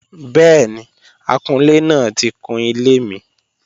Bẹ́ẹ̀ni, akunlé náà ti kun ilé mi